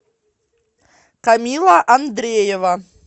камилла андреева